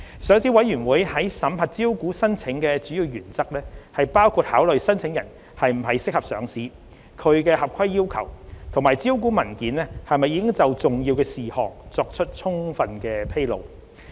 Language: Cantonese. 上市委員會審核招股申請的主要原則包括考慮申請人是否適合上市、其合規要求，以及招股文件是否已就重要事項作出充分披露。